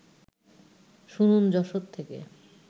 শুনুন যশোর থেকে